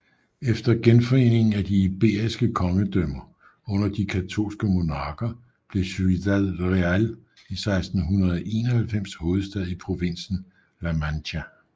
Efter genforeningen af de iberiske kongedømmer under de katolske monarker blev Ciudad Real i 1691 hovedstad i provinsen La Mancha